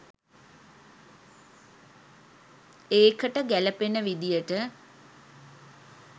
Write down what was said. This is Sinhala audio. ඒකට ගැලපෙන විදියට